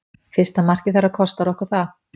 Fyrsta markið þeirra kostar okkar það.